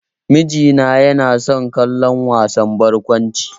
Miji na yana son kallon wasan barkwanci.